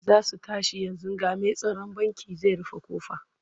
Za su tashi yanzu ga mai tsaron bankin zai rufe ƙofa.